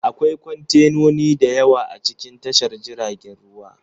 Akwai kwantenoni da yawa a cikin tashar jiragen ruwa